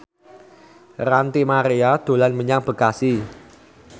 Ranty Maria dolan menyang Bekasi